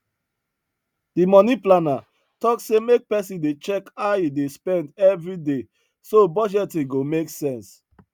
the money planner talk say make person dey check how him dey spend every day so budgeting go make sense